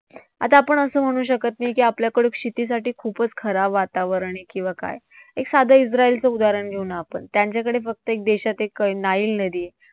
आता आपण असं म्हणू शकत नाही की आपल्याकडं शेतीसाठी खूपच खराब वातावरण आहे किंवा काय. एक साधं इस्राईलचं उदाहरण घेऊ ना आपण. त्यांच्याकडे फक्त एक देशात एक नाईल नदी आहे.